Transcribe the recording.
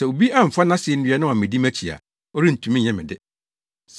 Sɛ obi amfa nʼasennua na wammedi mʼakyi a, ɔrentumi nyɛ me de.